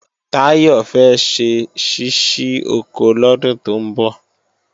Táyọ̀ fẹ́ ṣe ṣíṣí oko lọ́dún tó ń bọ̀